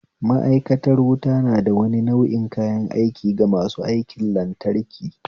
Ma'aikantar wuta nada wani nau'i kayan aiki ga masu aikin lantraki